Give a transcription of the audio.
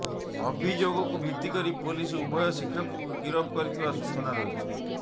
ଅଭିଯୋଗକୁ ଭିତ୍ତି କରି ପୋଲିସ ଉଭୟ ଶିକ୍ଷକଙ୍କୁ ଗିରଫ କରିଥିବା ସୂଚନା ରହିଛି